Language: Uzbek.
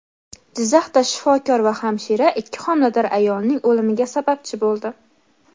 Jizzaxda shifokor va hamshira ikki homilador ayolning o‘limiga sababchi bo‘ldi.